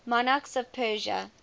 monarchs of persia